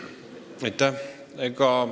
Aitäh!